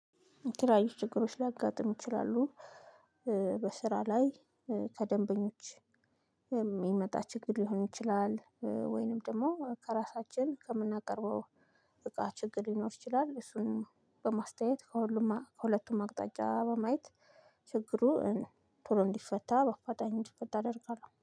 የተለያዩ ችግሮች ሊያጋጥም ይችላሉ። በስራ ላይ ከደንበኞች የሚመጣ ችግር ሊሆን ይችላል ወይንም ደግሞ ከራሳችን ከምናቀርበው እቃ ችግር ሊኖር ይችላል። እሱን በማስተያየት ከሁሉም ከሁለቱም አቅጣጫ በማየት ችግሩ ቶሎ እንዲፈታ በአፋጣኝ እንዲፈታ አደርጋለሁ